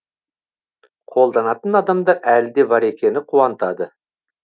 қолданатын адамдар әлі де бар екені қуантады